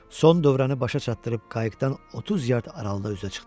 Son dövrəni başa çatdırıb qayıqdan 30 yard aralıqda üzə çıxdı.